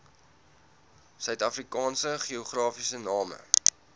suidafrikaanse geografiese name